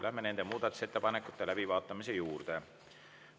Läheme nende muudatusettepanekute läbivaatamise juurde.